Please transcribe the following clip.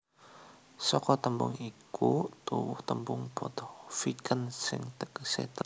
Saka tembung iku tuwuh tembung Bottenviken sing tegese teluk teluk